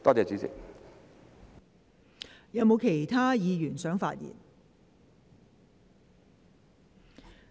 是否有其他議員想發言？